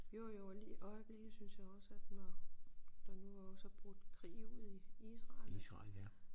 Jo jo og lige i øjeblikket synes jeg også at når der nu også er brudt krig ud i Israel